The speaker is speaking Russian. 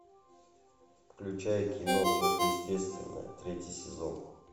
включай кино сверхъестественное третий сезон